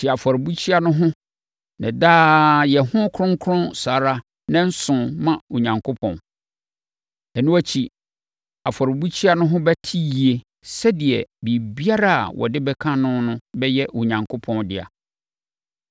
Te afɔrebukyia no ho na daa yɛ no kronkron saa ara nnanson ma Onyankopɔn. Ɛno akyi, afɔrebukyia no ho bɛte yie sɛdeɛ biribiara a wɔde bɛka no no bɛyɛ Onyankopɔn dea.